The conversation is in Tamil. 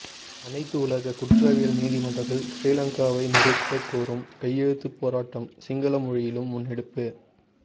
அனைத்துலக குற்றவியல் நீதிமன்றத்தில் சிறிலங்காவை நிறுத்தக் கோரும் கையெழுத்துப் போராட்டம் சிங்கள மொழியிலும் முன்னெடுப்பு